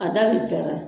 A da bi pɛrɛn